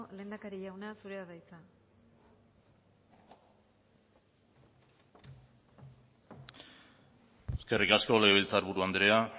lehendakari jauna zurea da hitza eskerrik asko legebiltzarburu andrea